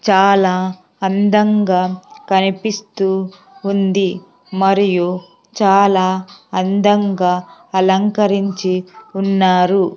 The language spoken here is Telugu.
చాలా అందంగా కనిపిస్తూ ఉంది మరియు చాలా అందంగా అలంకరించి ఉన్నారు.